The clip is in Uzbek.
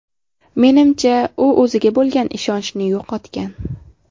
Menimcha, u o‘ziga bo‘lgan ishonchni yo‘qotgan.